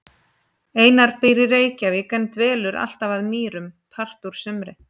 Einar býr í Reykjavík en dvelur alltaf að Mýrum part úr sumri.